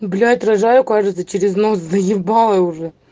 блять рожаю кажется через нос заебало уже